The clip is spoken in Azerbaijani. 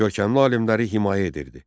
Görkəmli alimləri himayə edirdi.